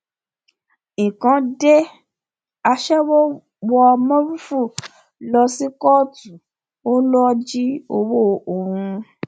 nǹkan dé aṣẹwó wọ mórúfú lọ sí kóòtù ó lọ jí ọwọ òun